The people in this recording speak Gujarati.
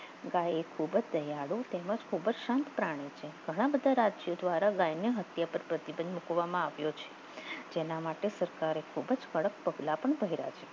ગાયે ખૂબ જ દયાળુ ખૂબ જ સંઘ પ્રાણી છે ઘણા બધા રાજ્ય દ્વારા ગાયને હત્યા પર પ્રતિબંધ મૂકવામાં આવ્યો છે તેના માટે સરકારે ખૂબ જ કડક પગલાં ભર્યા છે